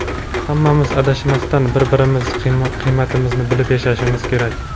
Hammamiz adashmasdan, bir-birimizni qiymatimizni bilib yashashimiz kerak.